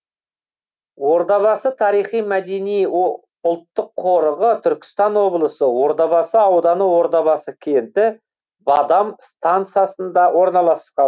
ордабасы тарихи мәдени ұлттық қорығы түркістан облысы ордабасы ауданы ордабасы кенті бадам стансасында орналасқан